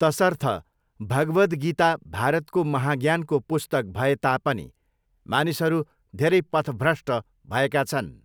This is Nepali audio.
तसर्थ भगवद् गीता भारतको महाज्ञानको पुस्तक भएता पनि मानिसहरू धेरै पथभ्रष्ट भएका छन्।